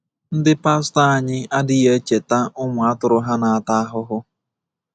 Ndị pastọ anyị adịghị echeta ụmụ atụrụ ha na-ata ahụhụ.